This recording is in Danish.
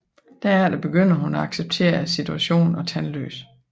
Derefter begynder hun at acceptere situationen og Tandløs